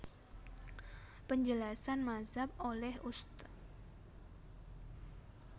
Penjelasan Mazhab oleh Ust